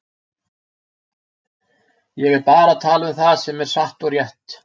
Ég er bara að tala um það sem er satt og rétt.